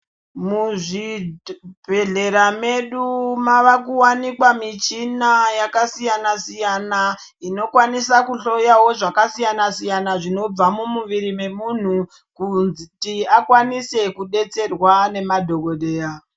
Muzvibhehlera medu mavakuwanikwa michina yakasiyana -siyana inokwanisawo kuhloyawo zvakasiyana-siyana zvinobva mumuviri memunhu kuti akwanise kudetserwa nemadhokodheya.